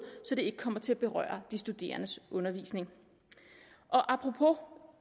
så det ikke kommer til at berøre de studerendes undervisning apropos